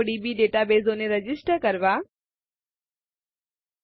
odb ડેટાબેઝોને register કરીને નોંધાવીને